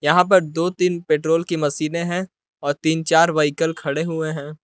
यहां पर दो तीन पेट्रोल की मशीने है और तीन चार व्हीकल खड़े हुए हैं।